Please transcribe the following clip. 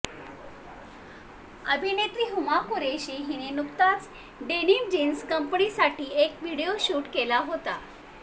अभिनेत्री हुमा कुरेशी हिने नुकताच डेनिम जीन्स कंपनीसाठी एक व्हिडिओ शूट केला होता